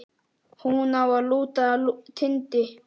Hún á að lúta Tindi.